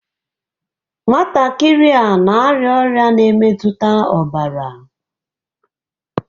Nwatakịrị a n'arịa ọrịa na-emetuta ọbara.